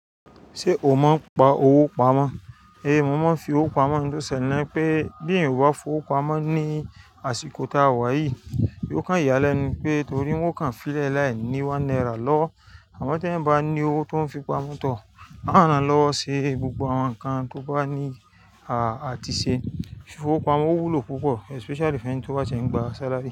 Ṣé o mọ̀ n pa owó pamọ́? Ehn, mo mọ̀ fi owó pamọ́ níntó ṣẹlẹ̀ nipé bí ẹ̀yàn o bà fi owó pamọ́ ní àsìkò tí a wà yìí, yóò kàn ìyà lẹ́nu pé torí wọn kan fílẹ̀ láì ní one naira lọ́wọ́ àmọ́ tí ẹ̀yin bá ní owó tó ń fi pamọ́ tọ, àranlọwo ṣe gbogbo àwọn nǹkan tí ó bá ní à àti ṣe. Fi fowó pamọ́ o wúlò púpọ̀ especially fún ẹ ni tó bá ti ẹ ń gba salary.